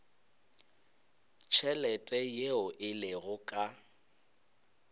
tšhelete yeo e lego ka